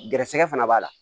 Gɛrɛsɛgɛ fana b'a la